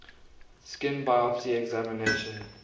skin biopsy examination